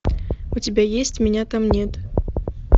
у тебя есть меня там нет